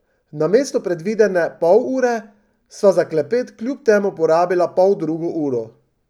Namesto predvidene pol ure sva za klepet kljub temu porabila poldrugo uro.